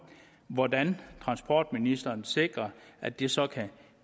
hvordan transportministeren vil sikre at det så kan